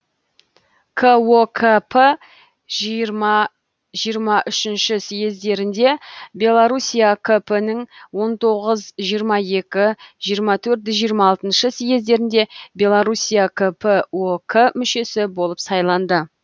кокп жиырма жиырма үшінші съездерінде белоруссия кп нің он тоғыз жиырма екі жиырма төрт жиырма алтыншы съездерінде белоруссия кп ок мүшесі болып сайланды